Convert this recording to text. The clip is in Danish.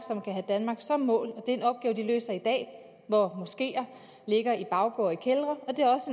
som mål og det er en opgave de løser i dag hvor moskeer ligger i baggårde i kældre